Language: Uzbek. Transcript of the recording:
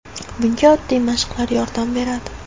Bunga oddiy mashqlar yordam beradi.